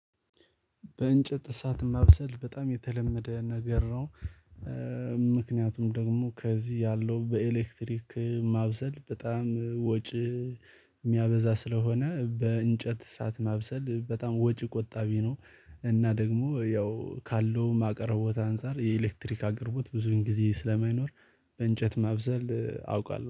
በእንጨት እሳት ማብሰል በጣም የተለመደ ነገር ነው። ምክንያቱም ደግሞ ከዚህ ያለው በኤሌክትሪክ ማብሰል በጣም ወጪ የሚያበዛ ስለሆነ በእንጨት እሳት ማብሰል በጣም ወጪ ቆጣቢ ነው። እና ደግሞ ያው ካለውም አቅርቦት አንፃር የኤሌክትሪክ አቅርቦት ብዙን ጊዜ ስለማይኖር በእንጨት ማብሰል አውቃለሁ